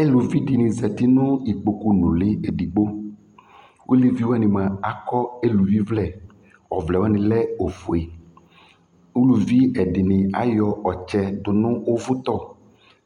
Eluvi dɩnɩ zati nʋ ikpokunʋlɩ edigbo Eluvi wanɩ mʋa, akɔ eluvivlɛ Ɔvlɛ wanɩ lɛ ofue Uluvi ɛdɩnɩ ayɔ ɔtsɛ dʋ nʋ ʋvʋtɔ